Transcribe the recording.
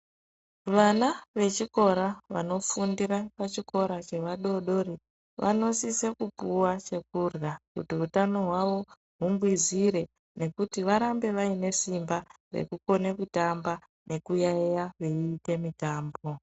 Vana vechikora vanofundira pachikora chevadoodori vanosise kupuwa chekurwa kuti hutano hwavo hungwizire nekuti varambe vaine simba rekukone kutamba nekuyayiya veiite mitambo